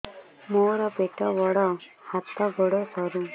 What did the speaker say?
ମୋର ପେଟ ବଡ ହାତ ଗୋଡ ସରୁ